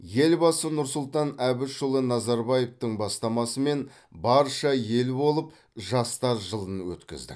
елбасы нұрсұлтан әбішұлы назарбаевтың бастамасымен барша ел болып жастар жылын өткіздік